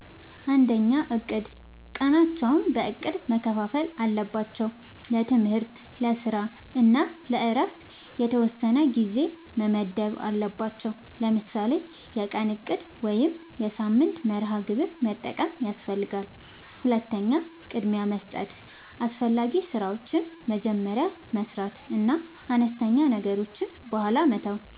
፩. እቅድ፦ ቀናቸውን በእቅድ መከፋፈል አለባቸው። ለትምህርት፣ ለስራ እና ለእረፍት የተወሰነ ጊዜ መመደብ አለባቸዉ። ለምሳሌ የቀን እቅድ ወይም የሳምንት መርሃ ግብር መጠቀም ያስፈልጋል። ፪. ቅድሚያ መስጠት፦ አስፈላጊ ስራዎችን መጀመሪያ መስራት እና አነስተኛ ነገሮችን በኋላ መተው።